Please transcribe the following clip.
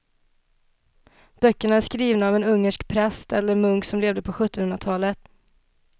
Böckerna är skrivna av en ungersk präst eller munk som levde på sjuttonhundratalet.